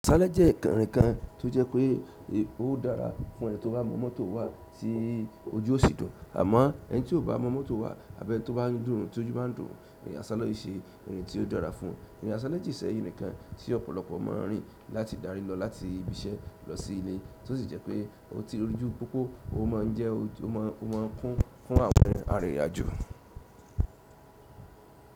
Aṣálẹ́ jẹ́ kànrìnkan tó jẹ́ pé ó dára fún ẹni tí ó bá mọ mọ́tò wà tí ojú ṣì dùn, àmọ́ ẹni tí ò bá mọ mọ́tò wà àbí ẹni tí ó bá ríndùn tí ojú bá ń dùn, ìrìn àṣálẹ́ ò ṣe ohun tí ó dára fún un. Ìrìn àṣálẹ́ je íse irin nìkan tí ọ̀pọ̀lọpọ̀ mọ rìn láti dárí lọ láti ibi iṣẹ́ lọ sí ìle tí ó sì jẹ́ pé ó ti rújú púpọ̀, ó máa ń kún fún àwọn arìnrìn àjò.